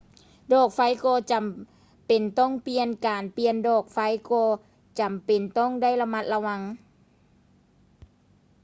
ດອກໄຟກໍຈໍາເປັນຕ້ອງປ່ຽນ ການປ່ຽນດອກໄຟກໍຈໍາເປັນຕ້ອງໄດ້ລະມັດລະວັງ